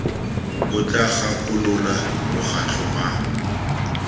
bo tla gakolola mokgatlho wa